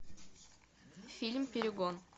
фильм перегон